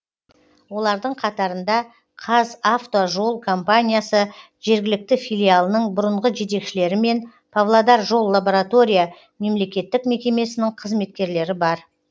олардың қатарында қазавтожол компаниясы жергілікті филиалының бұрынғы жетекшілері мен павлодар жол лаборатория мемлекеттік мекемесінің қызметкерлері бар